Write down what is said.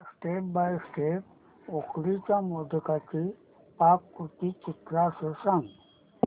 मला step by step उकडीच्या मोदकांची पाककृती चित्रांसह सांग